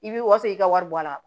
I b'i wasa i ka wari bɔ a la